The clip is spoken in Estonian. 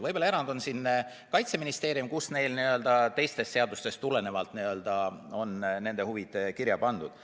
Võib-olla erand on Kaitseministeerium, kus teistest seadustest tulenevalt on nende huvid kirja pandud.